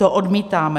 To odmítáme.